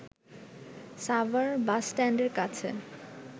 সাভার বাসস্ট্যান্ডের কাছে